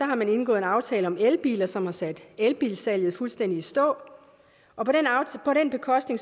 har man indgået en aftale om elbiler som har sat elbilsalget fuldstændig i stå og på den bekostning